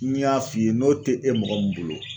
N y'a f'i ye n'o te e mɔgɔ min bolo